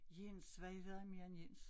Jens hvad hedder han mere end Jens